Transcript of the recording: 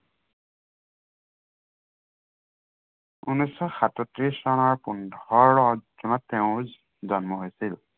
উনৈচ শ সাতত্ৰিশ চনৰ পোন্ধৰ জুনত তেওঁৰ জন্ম হৈছিল।